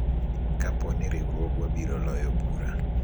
kapo ni riwruogwa biro loyo bura